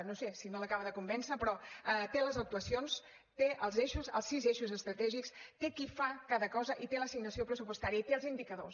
no sé si no l’acaba de convèncer però té les actuacions té els eixos els sis eixos estratègics té qui fa cada cosa i té l’assignació pressupostària i té els indicadors